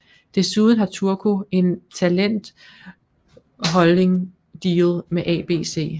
Desuden har Turco en talent holding deal med ABC